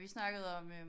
Vi snakkede om øh